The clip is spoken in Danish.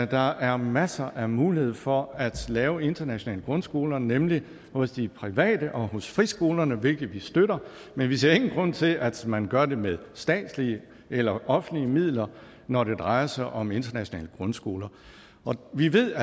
der er masser af mulighed for at lave internationale grundskoler nemlig hos de private og hos friskolerne hvilket vi støtter men vi ser ingen grund til at man gør det med statslige eller offentlige midler når det drejer sig om internationale grundskoler vi ved